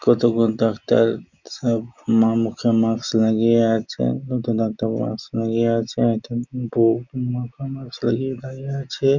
কতগুলো ডাক্তার সব মা মুখে মাস্ক লাগিয়ে আছে নতুন ডাক্তার মাস্ক লাগিয়ে আছে একজন বৌ মুখে মাস্ক লাগিয়ে দাড়িয়ে আছে।